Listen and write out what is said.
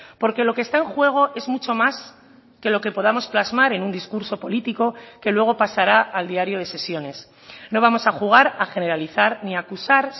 porque lo que está en juego es mucho más que lo que podamos plasmar en un discurso político que luego pasará al diario de sesiones no vamos a jugar a generalizar ni a acusar